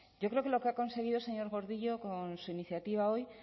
yo creo que lo que ha conseguido señor gordillo con su iniciativa hoy